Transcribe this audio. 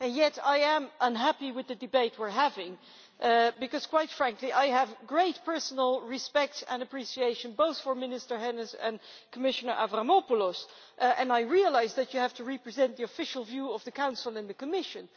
Yet I am unhappy with the debate we are having because, quite frankly, I have great personal respect and appreciation both for Minister Hennis and Commissioner Avramopoulos, and I realise that you have to represent the official view of the Council and the Commission.